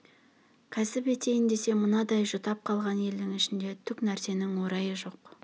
кәсіп етейін десе мынандай жұтап қалған елдің ішінде түк нәрсенің орайы жоқ